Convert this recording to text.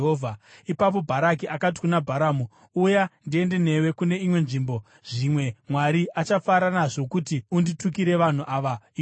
Ipapo Bharaki akati kuna Bharamu, “Uya, ndiende newe kune imwe nzvimbo. Zvimwe Mwari achafara nazvo kuti unditukire vanhu ava ikoko.”